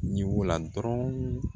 Ɲin'u la dɔrɔn